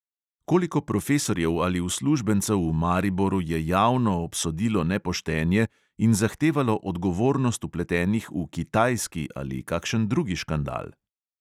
Koliko profesorjev ali uslužbencev v mariboru je javno obsodilo nepoštenje in zahtevalo odgovornost vpletenih v "kitajski" ali kakšen drugi škandal?